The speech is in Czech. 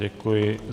Děkuji.